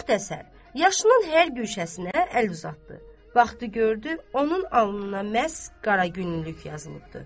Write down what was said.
Müxtəsər, yaşının hər güşəsinə əl uzatdı, vaxtı gördü, onun alnına məhz qara günlülük yazılıbdır.